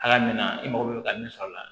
Hakɛ min na i mago bɛ ka min sɔrɔ la